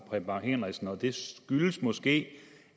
bang henriksen og det skyldes måske